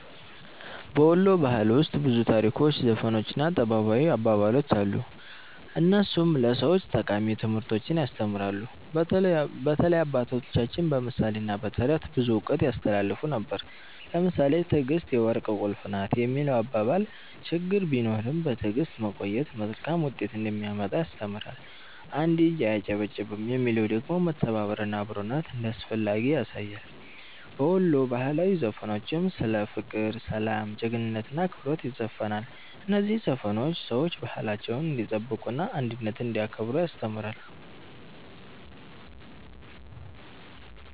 በ ወሎ ባህል ውስጥ ብዙ ታሪኮች፣ ዘፈኖች እና ጥበባዊ አባባሎች አሉ፣ እነሱም ለሰዎች ጠቃሚ ትምህርቶችን ያስተምራሉ። በተለይ አባቶቻችን በምሳሌ እና በተረት ብዙ እውቀት ያስተላልፉ ነበር። ለምሳሌ “ትዕግስት የወርቅ ቁልፍ ናት” የሚለው አባባል ችግር ቢኖርም በትዕግስት መቆየት መልካም ውጤት እንደሚያመጣ ያስተምራል። “አንድ እጅ አያጨበጭብም” የሚለው ደግሞ መተባበር እና አብሮነት እንዳስፈላጊ ያሳያል። በወሎ ባህላዊ ዘፈኖችም ስለ ፍቅር፣ ሰላም፣ ጀግንነት እና አክብሮት ይዘፈናል። እነዚህ ዘፈኖች ሰዎች ባህላቸውን እንዲጠብቁ እና አንድነትን እንዲያከብሩ ያስተምራሉ።